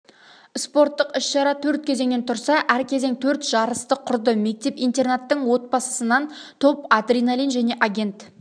спорттық іс-шара төрт кезеңнен тұрса әр кезең төрт жарысты құрды мектеп-интернаттың отбасысынан топ адреналин және агент